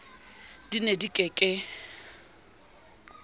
di ne di ke ke